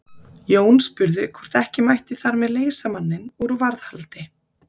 Jón spurði hvort ekki mætti þar með leysa manninn úr varðhaldi.